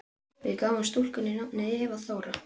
Við gáfum stúlkunni nafnið Eva Þóra.